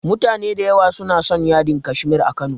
Mutane da yawa suna son yadin Kashmir a Kano.